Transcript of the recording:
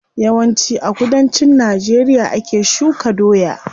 Yawan ci a kudancin najeriya ake shuka doya.